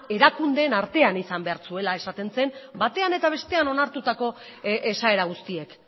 erakundeen artean izan behar zuela esaten zen batean eta bestean onartutako esaera guztiek